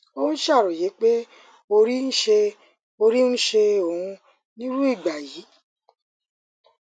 ó ń ṣàròyé pé orí ń ṣe orí ń ṣe òun nírú ìgbà yìí